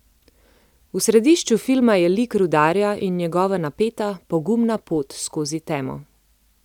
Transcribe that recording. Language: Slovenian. V središču filma je lik rudarja in njegova napeta, pogumna pot skozi temo.